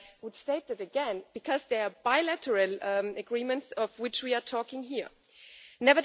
And I would state that again, because what we are talking about here are bilateral agreements.